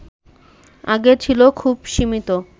আগে ছিল খুবই সীমিত